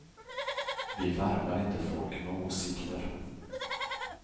Vi värvar inte folk med åsikter.